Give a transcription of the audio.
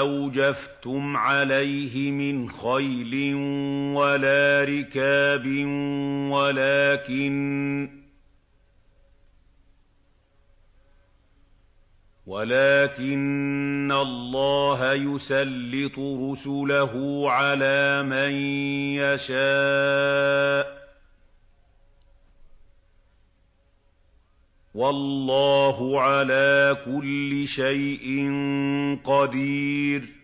أَوْجَفْتُمْ عَلَيْهِ مِنْ خَيْلٍ وَلَا رِكَابٍ وَلَٰكِنَّ اللَّهَ يُسَلِّطُ رُسُلَهُ عَلَىٰ مَن يَشَاءُ ۚ وَاللَّهُ عَلَىٰ كُلِّ شَيْءٍ قَدِيرٌ